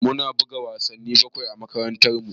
Mu na buga wasanni bakwai a makarantar mu